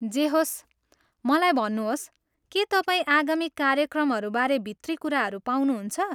जे होस्, मलाई भन्नुहोस्, के तपाईँ आगामी कार्यक्रमहरू बारे भित्री कुराहरू पाउनुहुन्छ?